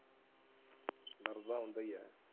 ਦਰਦ ਤਾਂ ਹੁੰਦਾ ਹੀ ਹੈ।